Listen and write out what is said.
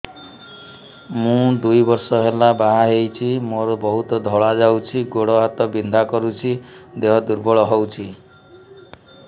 ମୁ ଦୁଇ ବର୍ଷ ହେଲା ବାହା ହେଇଛି ମୋର ବହୁତ ଧଳା ଯାଉଛି ଗୋଡ଼ ହାତ ବିନ୍ଧା କରୁଛି ଦେହ ଦୁର୍ବଳ ହଉଛି